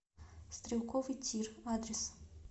стрелковый тир адрес